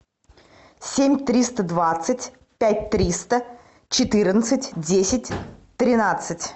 семь триста двадцать пять триста четырнадцать десять тринадцать